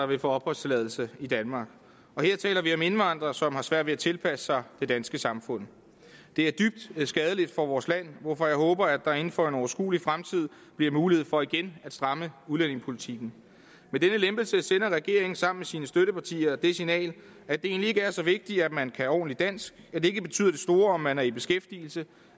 vil få opholdstilladelse i danmark og her taler vi om nogle indvandrere som har svært ved at tilpasse sig det danske samfund det er dybt skadeligt for vores land hvorfor jeg håber at der inden for en overskuelig fremtid bliver mulighed for igen at stramme udlændingepolitikken med denne lempelse sender regeringen sammen med sine støttepartier det signal at det egentlig ikke er så vigtigt om man kan ordentligt dansk at det ikke betyder det store om man er i beskæftigelse